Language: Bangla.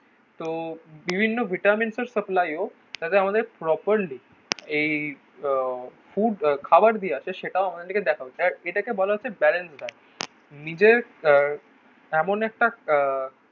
তো বিভিন্ন ভিটামিনসের সাপ্লাইও. তাতে আমাদের প্রপারলি এই ফুড খাবার দেওয়া আছে সেটাও আমাদের দিকে দেখাবে. আর এটাকে বলা হচ্ছে ব্যারেজ ব্যাস. নিজের এমন একটা আহ